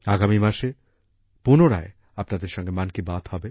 আগামী মাসে পুনরায় আপনাদের সঙ্গে মন কি বাত হবে